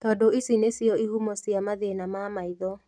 Tondu ici nĩcio ihumo cia mathĩna ma maitho